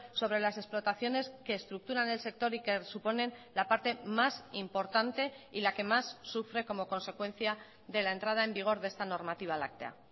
sobre las explotaciones que estructuran el sector y que suponen la parte más importante y la que más sufre como consecuencia de la entrada en vigor de esta normativa láctea